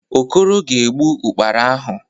Okoro ga-egbu Ụ́kpara ahụ.